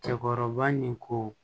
Cɛkɔrɔba nin ko